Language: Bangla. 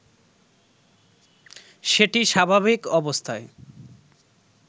সেটি স্বাভাবিক অবস্থায়